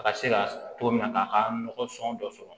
A ka se ka togo min na k'a ka nɔgɔ sɔn dɔ sɔrɔ